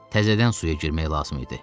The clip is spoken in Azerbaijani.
Təzədən suya girmək lazım idi.